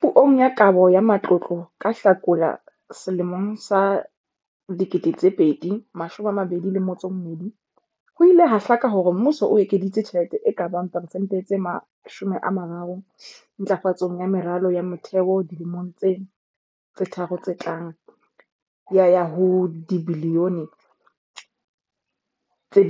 Puong ya Kabo ya Matlotlo ka Hlakola 2022, ho ile ha hlaka hore mmuso o ekeditse tjhelete e ka bang persente tse 30 ntlafatsong ya meralo ya motheo dilemong tsena tse tharo tse tlang ya ya ho dibilione tse